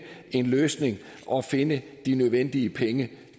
en løsning og finde de nødvendige penge